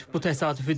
Bu təsadüfü deyil.